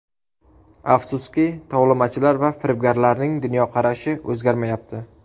Afsuski, tovlamachilar va firibgarlarning dunyoqarashi o‘zgarmayapti.